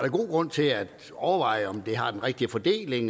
god grund til at overveje om det har den rigtige fordeling